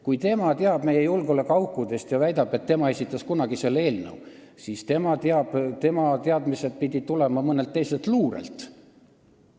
Kui tema teab meie julgeolekuaukudest ja väidab, et tema esitas kunagi selle eelnõu, siis tema teadmised pidid tulema mõnelt teiselt luurelt.